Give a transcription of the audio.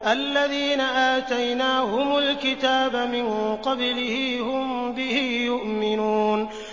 الَّذِينَ آتَيْنَاهُمُ الْكِتَابَ مِن قَبْلِهِ هُم بِهِ يُؤْمِنُونَ